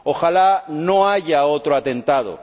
¡Ojala no haya otro atentado!